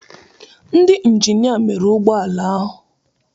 Ndị injinia mere ụgbọ ala ahụ.